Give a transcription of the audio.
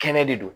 Kɛnɛ de don